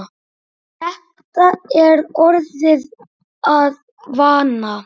Þetta er orðið að vana.